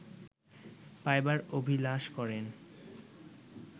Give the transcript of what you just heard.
পাইবার অভিলাষ করেন